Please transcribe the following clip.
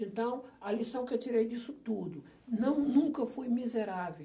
Então, a lição que eu tirei disso tudo, não, nunca fui miserável.